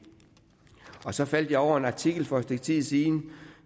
så faldt jeg over en artikel for et stykke tid siden